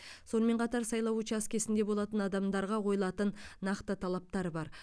сонымен қатар сайлау учаскесінде болатын адамдарға қойылатын нақты талаптар бар